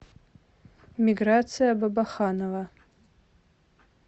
миграция бабаханова